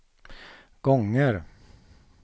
gånger